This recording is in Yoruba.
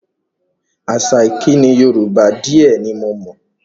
Àṣà ìkíni Yorùbá di ẹ ní mo mọ̀